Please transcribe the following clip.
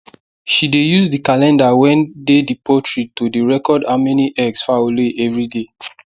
she dey use the calender wen dey the poultry to dey record how many eggs fowl lay everyday